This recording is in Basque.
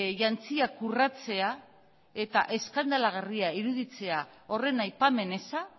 jantziak urratzea eta eskandalagarria iruditzea horren aipamen eza